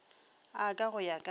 a ka go ya ka